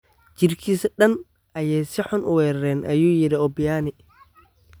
Jirkisa dhaan ayay si xun uwerereen ayu yiri Obiani.